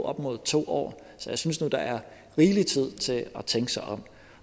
op mod to år så jeg synes nu der er rigelig tid til at tænke sig om